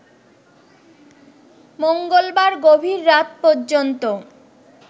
মঙ্গলবার গভীর রাত পর্যন্ত